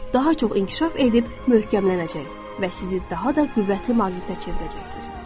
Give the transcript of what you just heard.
Daha çox inkişaf edib möhkəmlənəcək və sizi daha da qüvvətli maqnitə çevirəcəkdir.